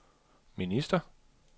minister